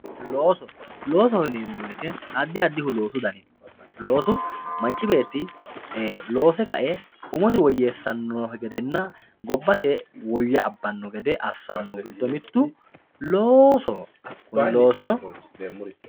looso loosoho yineemmo woyiite addi adi huluullo dafirino loosu manchi beetti loose ka"e umosi woyyeessawo gedenna gobbate soorro abbari giddo mittu loosoho